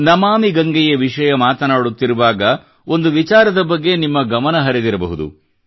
ನಮಾಮಿ ಗಂಗೆಯ ವಿಷಯ ಮಾತನಾಡುತ್ತಿರುವಾಗ ಒಂದು ವಿಚಾರದ ಬಗ್ಗೆ ನಿಮ್ಮ ಗಮನ ಹರಿದಿರಬಹುದು